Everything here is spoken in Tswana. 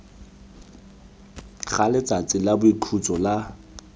ga letsatsi la boikhutso la